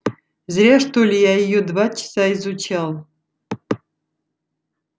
зря что ли я её два часа изучал